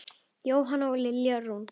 Jóhanna og Lilja Rún.